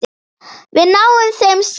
Við náum þeim samt!